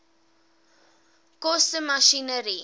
koste masjinerie